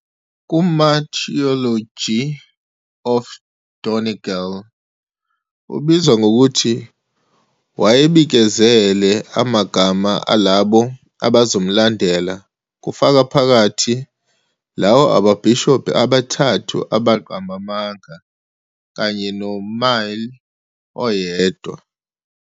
"KuMartyrology of Donegal", ubizwa ngokuthi wayebikezele amagama alabo abazomlandela, kufaka phakathi lawo ababhishobhi abathathu 'abaqamba amanga' kanye noMáel oyedwa.